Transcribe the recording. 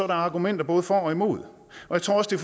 der argumenter både for og imod jeg tror også